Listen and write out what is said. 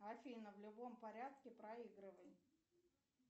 афина в любом порядке проигрывай